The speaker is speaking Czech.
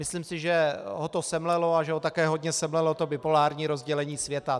Myslím si, že ho to semlelo a že ho také hodně semlelo to bipolární rozdělení světa.